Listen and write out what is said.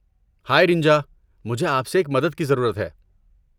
ہائے رِنجا، مجھے آپ سے ایک مدد کی ضرورت ہے۔